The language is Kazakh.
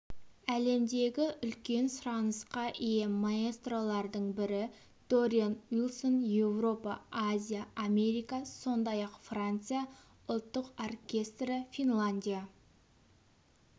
әлемдегі үлкен сұранысқа ие маэстролардың бірі дориан уилсон еуропа азия америка сондай-ақ франция ұлттық оркестрі финляндия